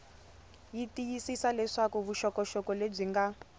tiyisisa leswaku vuxokoxoko lebyi nga